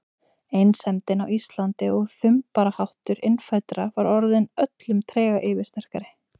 Einsemdin á Íslandi og þumbaraháttur innfæddra var orðin öllum trega yfirsterkari.